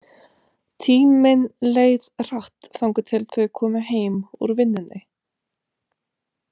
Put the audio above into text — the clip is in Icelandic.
Tíminn leið hratt þangað til þau komu heim úr vinnunni.